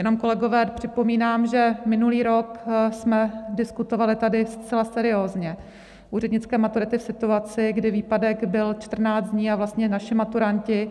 Jenom, kolegové, připomínám, že minulý rok jsme diskutovali tady zcela seriózně úřednické maturity v situaci, kdy výpadek byl 14 dní a vlastně naši maturanti